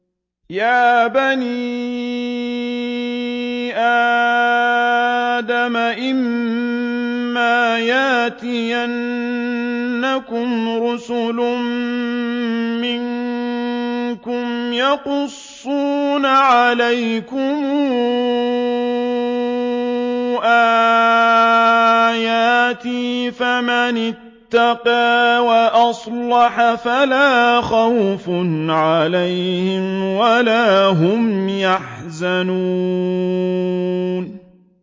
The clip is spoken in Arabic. يَا بَنِي آدَمَ إِمَّا يَأْتِيَنَّكُمْ رُسُلٌ مِّنكُمْ يَقُصُّونَ عَلَيْكُمْ آيَاتِي ۙ فَمَنِ اتَّقَىٰ وَأَصْلَحَ فَلَا خَوْفٌ عَلَيْهِمْ وَلَا هُمْ يَحْزَنُونَ